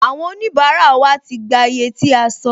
Àwọn onibara wa ti gbà iye tí a sọ